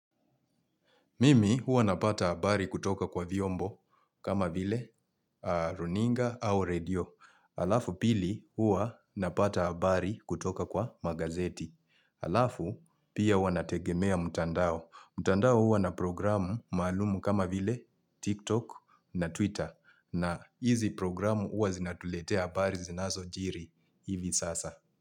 Mimi hua napata habari kutoka kwa vyombo kama vile runinga au radio. Alafu pili hua napata habari kutoka kwa magazeti. Alafu pia huwa nategemea mutandao. Mutandao hua na programu malumu kama vile TikTok na Twitter. Na hizi programu hua zinatuletea habari zinazojiri hivi sasa.